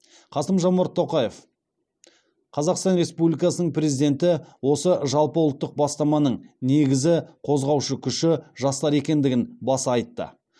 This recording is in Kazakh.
қасым жомарт тоқаев қазақстан республикасының президенті осы жалпыұлттық бастаманың негізі қозғаушы күші жастар екендігін баса айтты